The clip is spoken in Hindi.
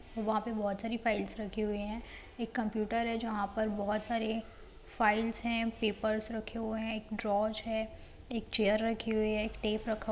वहाँ पे बहुत सारी फाइल्स रखी हुई है एक कंप्युटर है जहाँ पे बहुत सारे फाइल्स है पेपर्स रखे हुए हैं एक ड्रोज है एक चेयर रखी हुई है एक टेप रखा हुआ --